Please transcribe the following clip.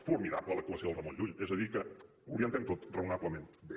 formidable l’actuació del ramon llull és a dir que ho orientem tot raonablement bé